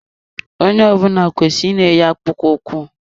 Onye ọ bụla kwesịrị ị na eyi akpụkpọ ụkwụ.